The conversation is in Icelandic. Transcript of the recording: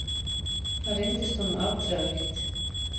Það reyndist honum afdrifaríkt.